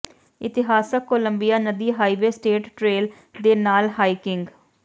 ਇਤਿਹਾਸਕ ਕੋਲੰਬੀਆ ਨਦੀ highway state trail ਦੇ ਨਾਲ ਹਾਈਕਿੰਗ